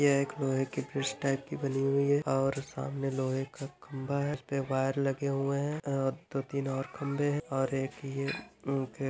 ये एक लोहे की फिश टाइप की बनी हुई है और सामने लोहे का खंबा है उसपे वायर लगे हुए है और दो तीन और खंभे है और एक--